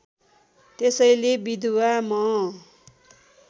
त्यसैले विधवा म